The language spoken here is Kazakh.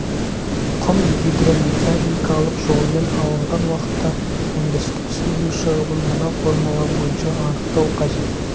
құм гидромеханикалық жолмен алынған уақытта өндірістік судың шығымын мына формула бойынша анықтау қажет